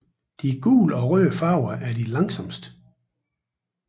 De gule og røde farver er de langsomste